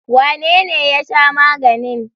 Wanene ya sha maganin?